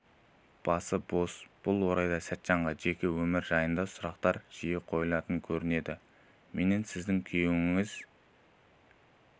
басы бос бұл орайда сәтжанға жеке өмірі жайында сұрақтар жиі қойылатын көрінеді менен сіздің күйеуіңіз